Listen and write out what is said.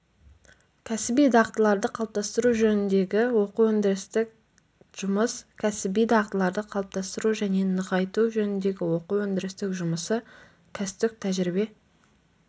кәсіби дағдыларды қалыптастыру жөніндегі оқу-өндірістік жұмыс кәсіби дағдыларды қалыптастыру және нығайту жөніндегі оқу-өндірістік жұмысы кәсіптік тәжірибе